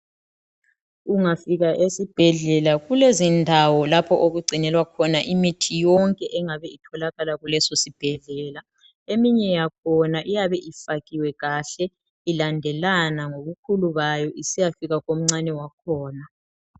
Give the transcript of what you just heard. Ungafika esibhedlela kulezindawo lapho okungcinelwa khona imithi yonke engabe itholakala kuleso sibhedlela. Eminye yakhona iyabe ifakiwe kahle ilandelana ngobukhulu bayo isiyafika komncane wakhona.